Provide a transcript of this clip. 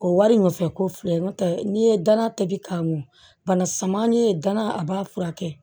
O wari nɔfɛ ko filɛ n'o tɛ n'i ye dana tobi k'a mɔn bana sama ni ye gana a b'a furakɛ